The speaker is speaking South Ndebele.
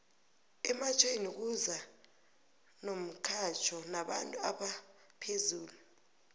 ematjhweni kuza nomxhatjho nabantu abaphezulu